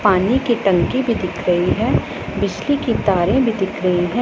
पानी की टंकी भी दिख रही है बिजली की तारे भी दिख रही है।